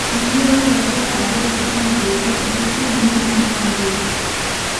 pee iyiolou ajo are oltung'ani bioto tosesen neidim ataa biitia